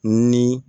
Ni